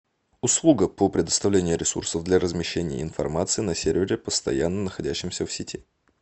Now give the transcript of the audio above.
услуга по предоставлению ресурсов для размещения информации на сервере постоянно находящемся в сети